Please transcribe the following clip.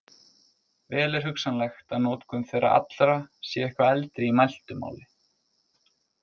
Vel er hugsanlegt að notkun þeirra allra sé eitthvað eldri í mæltu máli.